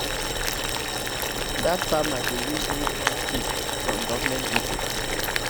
dat farmer dey use new corn seeds from government people